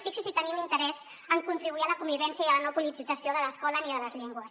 fixin se si tenim interès en contribuir a la convivència i a la no politització de l’escola ni de les llengües